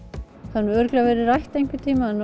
það hefur örugglega verið rætt einhvern tímann